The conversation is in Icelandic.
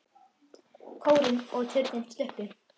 Kórinn og turninn sluppu.